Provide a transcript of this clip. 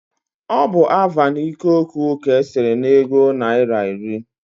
Ọ bụ Avan ikoku ka e sere n'ego naira iri